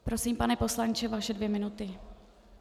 Prosím, pane poslanče, vaše dvě minuty.